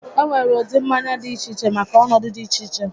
E nwere ụdị mmanya dị iche iche maka ọnọdụ dị iche iche